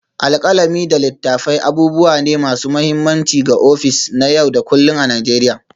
Alkalami da littattafai abubuwa ne masu mahimmanci ga ofis na yau da kullun a Najeriya.